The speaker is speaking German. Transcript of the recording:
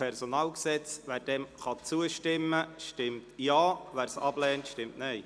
Wer die Gesetzesänderung annimmt, stimmt Ja, wer diese ablehnt, stimmt Nein.